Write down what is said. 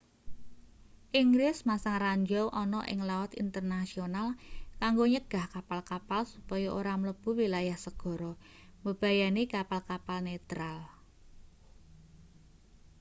inggris masang ranjau ana ing laut internasional kanggo nyegah kapal-kapal supaya ora mlebu wilayah segara mbebayani kapal-kapal netral